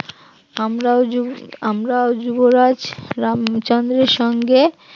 আমরাও যুব আমরাও যুবরাজ রামচন্দ্রের সঙ্গে